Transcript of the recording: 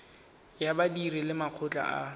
ya badiri le makgotla a